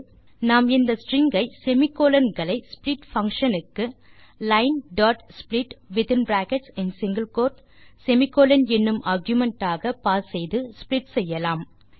நாம் இந்த ஸ்ட்ரிங் ஐ semi கோலோன் களை ஸ்ப்ளிட் பங்ஷன் க்கு linesplit என்னும் ஆர்குமென்ட் ஆக பாஸ் செய்து ஸ்ப்ளிட் செய்யலாம்